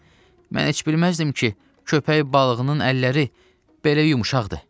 Mən heç bilməzdim ki, köpək balığının əlləri belə yumşaqdır.